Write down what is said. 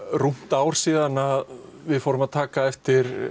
rúmt ár síðan við fórum að taka eftir